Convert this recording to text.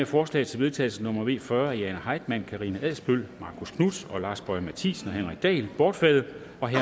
forslag til vedtagelse nummer v fyrre af jane heitmann karina adsbøl marcus knuth lars boje mathiesen og henrik dahl bortfaldet